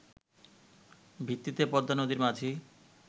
ভিত্তিতে পদ্মানদীর মাঝি